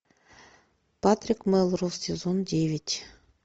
патрик мелроуз сезон девять